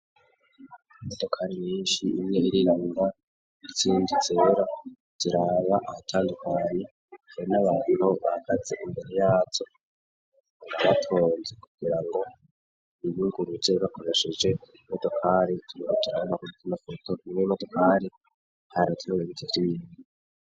Imodokari nyinshi, imwe irirabura izindi zera, ziraba ahatandukanye, izindi zera zikaba zifise abantu bahagaze imbere yazo imbere yaco rabatonze kugira ngo ibungurutse bakobashije motokari turbtirana kutima foto ure motokari ntarateweigirini.